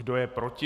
Kdo je proti?